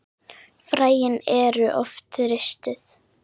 Fræin eru oft ristuð.